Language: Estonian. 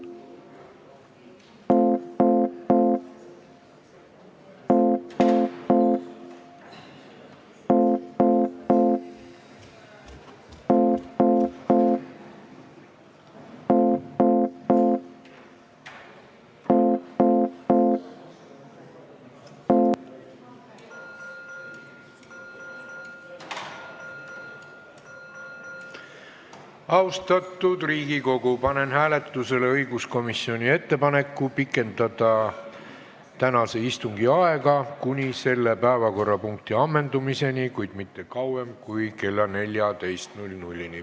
Austatud Riigikogu, panen hääletusele õiguskomisjoni ettepaneku pikendada tänase istungi aega kuni selle päevakorrapunkti ammendumiseni, kuid mitte kauem kui kella 14-ni.